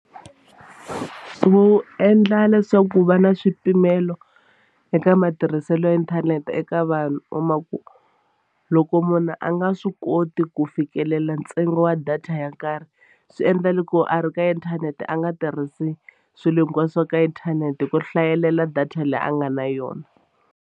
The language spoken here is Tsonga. Wu endla leswaku ku va na swipimelo eka matirhiselo ya inthanete eka vanhu kuma ku loko munhu a nga swi koti ku fikelela ntsengo wa data ya karhi swi endla loko a ri ka inthanete a nga tirhisi swilo hinkwaswo ka inthanete hi ku hlayelela data leyi a nga na yona.